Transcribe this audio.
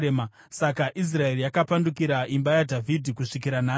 Saka Israeri yakapandukira imba yaDhavhidhi kusvikira nhasi.